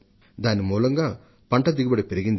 దీని మూలంగా పంట దిగుబడి అధికం అయింది